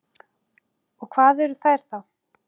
Og hvað eru þær þá?